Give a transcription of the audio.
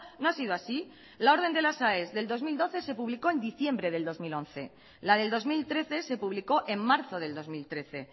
no ha sido así la orden de las aes del dos mil doce se publicó en diciembre del dos mil once la del dos mil trece se publicó en marzo del dos mil trece